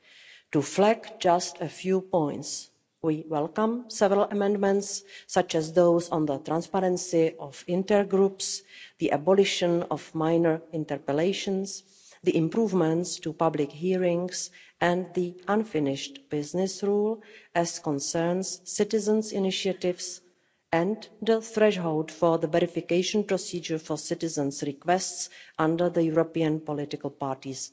but I will flag just a few points. We welcome several amendments, such as those on the transparency of intergroups, the abolition of minor interpellations, the improvements to public hearings and the unfinished business' rule as concerns citizens' initiatives and the threshold for the verification procedure for citizens' requests under the statute of European political parties.